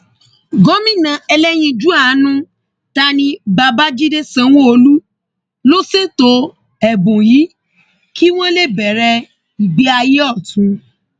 gomina ẹlẹyinjú àánú tá ní babájídé sanwóolu ló ṣètò ẹbùn yìí kí wọn lè bẹrẹ ìgbé ayé ọtún